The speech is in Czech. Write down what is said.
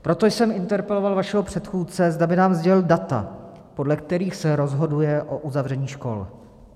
Proto jsem interpeloval vašeho předchůdce, zda by nám sdělil data, podle kterých se rozhoduje o uzavření škol.